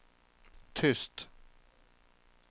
tyst